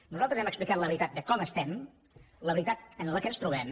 nosaltres hem explicat la veritat de com estem la veritat en què ens trobem